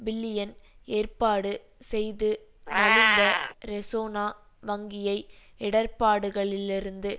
billion ஏற்பாடு செய்து நலிந்த ரெசோனா வங்கியை இடர்பாடுகளிலிருந்து